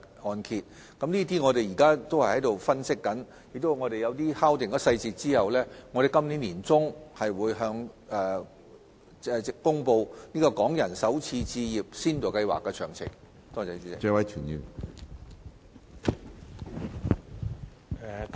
我們現正就這方面進行分析，在敲定有關細節後，會在今年年中公布港人首次置業先導計劃的詳情。